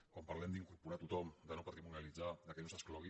quan parlem d’incorporar tothom de no patrimonialitzar que no s’exclogui